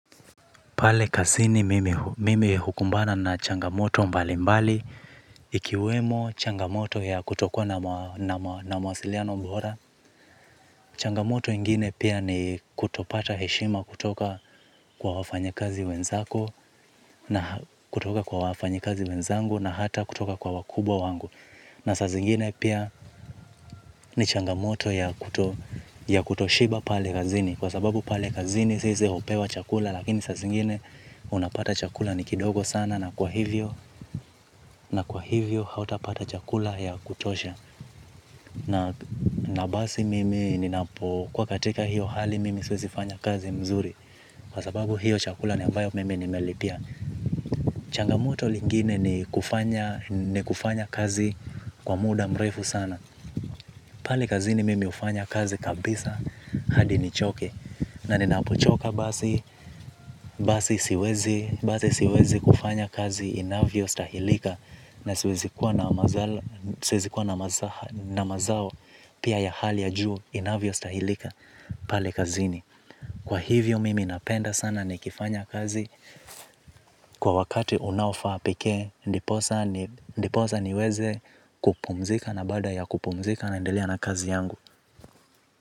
Pale kazini mimi hukumbana na changamoto mbali mbali. Ikiwemo changamoto ya kutokuwa na mawasiliano bora. Changamoto ingine pia ni kutopata heshima kutoka kwa wafanyikazi wenzako. Na kutoka kwa wafanyikazi wenzangu na hata kutoka kwa wakubwa wangu. Na saa zingine pia ni changamoto ya kutoshiba pale kazini. Kwa sababu pale kazini sisi hupewa chakula lakini saa zingine unapata chakula ni kidogo sana na kwa hivyo hauta pata chakula ya kutosha. Na basi mimi ninapo kuwa katika hiyo hali mimi siwezi fanya kazi mzuri. Kwa sababu hiyo chakula ni ambayo mimi nimelipia. Changamoto lingine ni kufanya ni kufanya kazi kwa muda mrefu sana. Pale kazini mimi hufanya kazi kabisa hadi nichoke. Na ninapochoka basi, basi siwezi kufanya kazi inavyo stahilika. Na siwezi kuea siwezi kuwa na mazao pia ya hali ya juu inavyo stahilika pale kazini. Kwa hivyo mimi napenda sana ni kifanya kazi. Kwa wakati unaofaa pekee, ndiposa niweze kupumzika na baada ya kupumzika naendelea na kazi yangu.